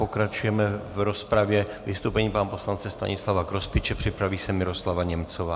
Pokračujeme v rozpravě vystoupením pana poslance Stanislava Grospiče, připraví se Miroslava Němcová.